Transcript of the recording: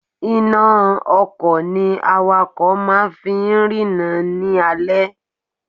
Iná a ọkò ni awakò máa fi ń rína ní alé